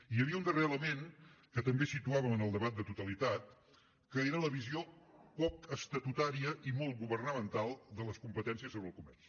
hi havia un darrer element que també situàvem en el debat de totalitat que era la visió poc estatutària i molt governamental de les competències sobre el comerç